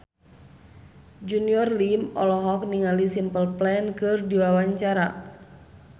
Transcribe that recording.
Junior Liem olohok ningali Simple Plan keur diwawancara